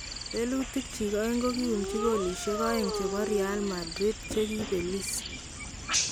Lelutik chik aeng kokiumchi kolisiek aeng chebo Real Madrid che kibelis